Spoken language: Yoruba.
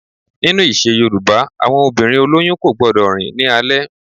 Nínu ìṣe yoòbá, àwọn obìnrin olóyún kò gbọdọ̀ rìn ní alẹ́